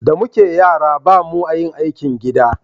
da muke yara ba mu a yin aikin gida